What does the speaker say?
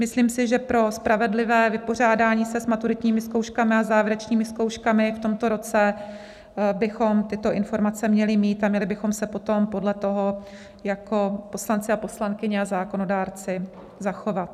Myslím si, že pro spravedlivé vypořádání se s maturitními zkouškami a závěrečnými zkouškami v tomto roce bychom tyto informace měli mít, a měli bychom se potom podle toho jako poslanci a poslankyně a zákonodárci zachovat.